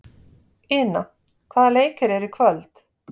Ina, hvaða leikir eru í kvöld?